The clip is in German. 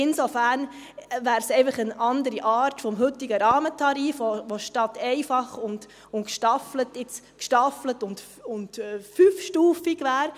Insofern wäre es einfach eine andere Art des heutigen Rahmentarifs, die statt einfach und gestaffelt jetzt gestaffelt und 5-stufig wäre.